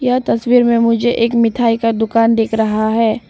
यह तस्वीर में मुझे एक मिठाई का दुकान दिख रहा है।